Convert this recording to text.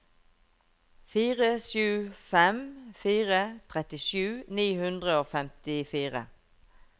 fire sju fem fire trettisju ni hundre og femtifire